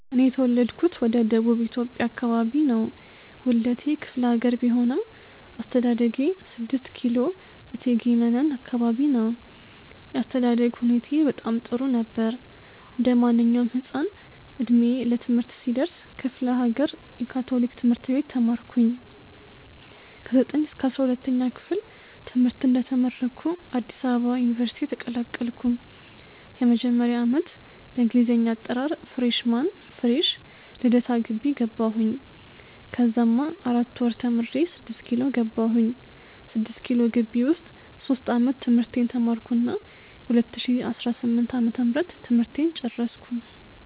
እኔ የተውለድኩት ወደ ደቡብ ኢትዮጵያ አከባቢ ነው። ዉልዴቴ ክፍሌሀገር ቢሆንም አስተዳደጌ 6 ኪሎ እቴጌ መነን አከባቢ ነው። የአስተዳደግ ሁኔታዬ በጣም ጥሩ ነበር። እንዴማንኛዉም ህፃን እድሜ ለትምህርት ሲደርስ ክፍሌሀገር የ ካቶሊክ ትምህርት ቤት ተማርኩኝ። ከ 9ኛ-12ኛ ክፍል ትምህርተን እንደተመረኩ አዲስ አበባ ዩኒቨርሲቲ ተቀላቀልኩ። የመጀመሪያ ዓመት በእንግሊዘኛ አጠራር freshman (ፍሬሽ ) ልደታ ግቢ ገባሁኝ። ከዛማ 4 ወር ተምሬ 6ኪሎ ገባሁኝ። 6ኪሎ ግቢ ዉስጥ ሶስት ዓመት ትምህርቴን ተማርኩና በ 2018 ዓ/ም ትምህርቴን ጨረስኩ።